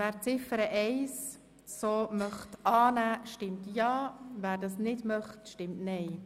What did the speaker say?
Wer die Ziffer 1 so annehmen möchte, stimmt Ja, wer dies nicht möchte, stimmt Nein.